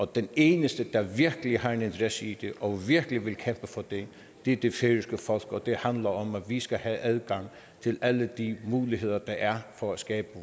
den eneste der virkelig har en interesse i det og virkelig vil kæmpe for det er det færøske folk og det handler om at vi skal have adgang til alle de muligheder der er for at skabe